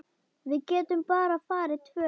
Við getum bara farið tvö.